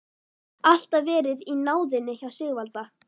Alltaf verið í náðinni hjá Sigvalda.